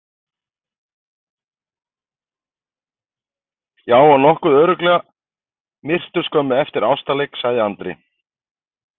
Já, og nokkuð örugglega myrtur skömmu eftir ástarleik, sagði Andri.